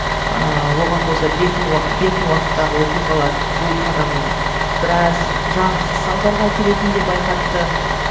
ыыы оған қоса бертін уақыттағы оқиғалар бұл қадамның біраз жағымсыз салдарға әкелетінін де байқатты